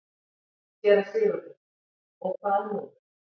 SÉRA SIGURÐUR: Og hvað nú?